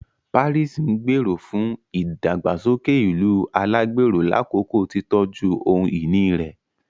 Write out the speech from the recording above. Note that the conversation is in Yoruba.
Paris ngbero fún ìdàgbàsókè ìlú alagbero lakoko titọju ohun-ìní rẹ